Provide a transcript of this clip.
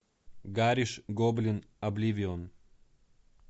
гариш гоблин обливион